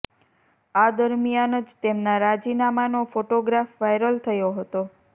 આ દરમિયાન જ તેમના રાજીનામાનો ફોટોગ્રાફ વાયરલ થયો હતો